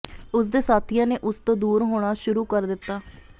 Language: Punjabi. ਉਸ ਦੇ ਸਾਥੀਆਂ ਨੇ ਉਸ ਤੋਂ ਦੂਰ ਹੋਣਾ ਸ਼ੁਰੂ ਕਰ ਦਿੱਤਾ